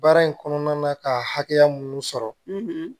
Baara in kɔnɔna na ka hakɛya mun sɔrɔ